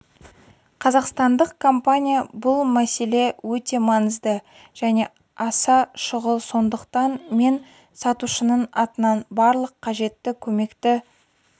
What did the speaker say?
қазақстандық компания бұл мәселе өте маңызды және аса шұғыл сондықтан мен сатушының атынан барлық қажетті көмекті